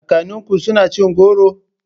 Kakanninku suna cin goro?